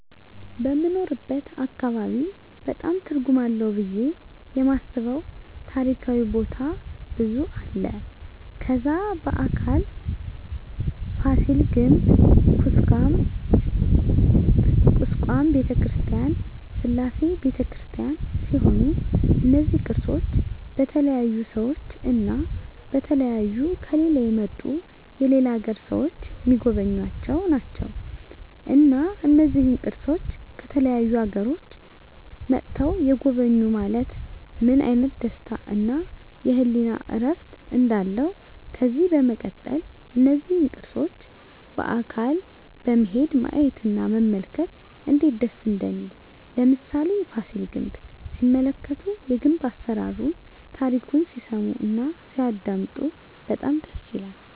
በምንኖርበት አካባቢ በጣም ትርጉም አለው ብየ የማስበው ታሪካዊ ቦታ ብዙ አለ ከዛ በአካል ፋሲል ግንብ ኩስካም በተክርስቲያን ስላሴ በተክርስቲያን ሲሆኑ እነዚ ቅርሶች በተለያዩ ሰዎች እና በተለያዩ ከሌላ የመጡ የሌላ አገር ሰዎች ሚጎበኙአቸው ናቸው እና እነዚህን ቅርሶች ከተለያዩ አገሮች መጥተዉ የጎበኙ ማየት ምን አይነት ደስታ እና የህሊና እርፍ እንዳለው ከዚህ በመቀጠል እነዚህን ቅርሶች በአካል በመሄድ ማየት እና መመልከት እነዴት ደስ እንደሚል ለምሳሌ ፋሲል ግንብ ሲመለከቱ የግንብ አሰራሩን ታሪኩን ሲሰሙ እና ሲያደመጡ በጣም ደስ ይላል